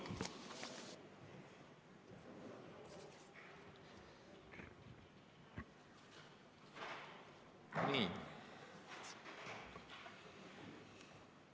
Nii.